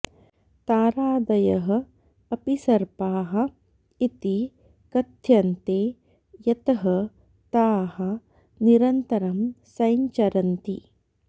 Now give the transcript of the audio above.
तारादयः अपि सर्पाः इति कथ्यन्ते यतः ताः निरन्तरं सञ्चरन्ति